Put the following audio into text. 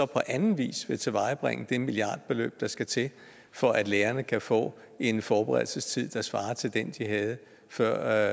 på anden vis vil tilvejebringe det milliardbeløb der skal til for at lærerne kan få en forberedelsestid der svarer til den de havde før